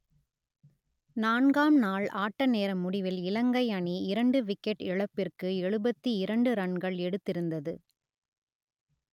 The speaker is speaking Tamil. நான்காம் நாள் ஆட்டநேர முடிவில் இலங்கை அணி இரண்டு விக்கெட் இழப்பிற்கு எழுபத்தி இரண்டு ரன்கள் எடுத்திருந்தது